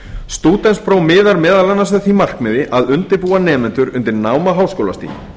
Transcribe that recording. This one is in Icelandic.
stúdentspróf miðar meðal annars að því markmiði að undirbúa nemendur undir nám á háskólastigi